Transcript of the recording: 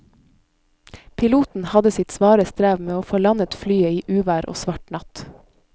Piloten hadde sitt svare strev med å få landet flyet i uvær og svart natt.